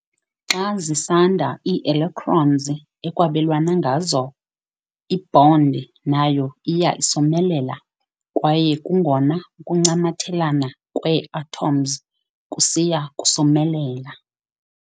Xa zisanda ii-electrons ekwabelwane ngazo, i-bond nayo iya isomelela kwaye kungona ukuncamathelana kwee-atoms kusiya kusomelela.